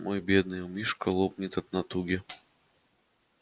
мой бедный умишко лопнет от натуги